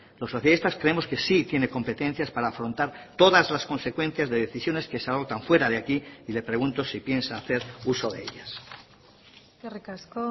los socialistas creemos que sí tiene competencias para afrontar todas las consecuencias de decisiones que se adoptan fuera de aquí y le pregunto si piensa hacer uso de ellas eskerrik asko